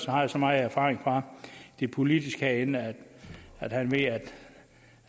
har så meget erfaring fra det politiske liv herinde at han ved